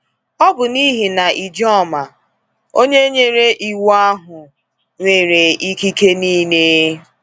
Ọ bụ n’ihi na Ijoma, onye nyere iwu ahụ, nwere “ikike niile.”